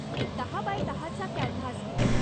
मी दहा बाय दहा चा कॅनव्हास घेईन.